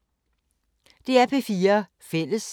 DR P4 Fælles